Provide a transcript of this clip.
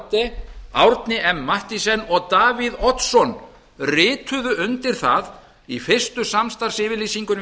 haarde árni m mathiesen og davíð oddsson rituðu undir það í fyrstu samstarfsyfirlýsingunni við